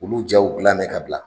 Olu diyaw dilan bɛ ka bila;